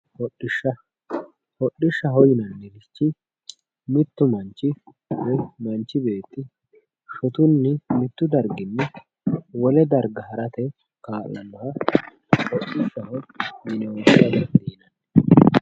hodhisha hodhishaho yinannirichi mittu manch woye manch beetti shotunni mittu darginni wole darga harate ka'laaha hodhishaho yinanni.